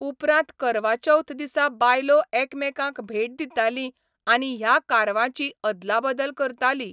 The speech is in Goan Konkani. उपरांत करवा चौथ दिसा बायलो एकामेकांक भेट दिताली आनी ह्या कारवांची अदलाबदल करताली.